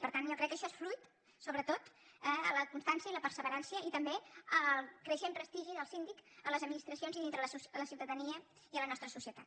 per tant jo crec que això és fruit sobretot de la constància i la perseverança i també del creixent prestigi del síndic a les administracions i dintre de la ciutadania i a la nostra societat